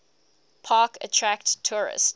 park attract tourists